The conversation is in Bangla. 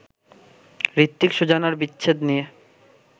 হৃত্বিক-সুজানার বিচ্ছেদ নিয়ে